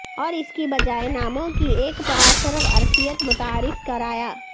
اور اس کی بجائے ناموں کی ایک پراسرار عرفیت متعارف کرایا